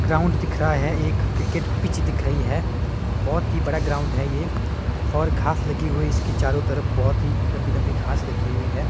Ground दिख रहा है एक क्रिकेट पिच दिख रही है बहोत ही बड़ा ग्राउंड है ये और घास लगी हुई इसकी चारों तरफ बहोत ही लंबी लंबी घास लगी हुई है।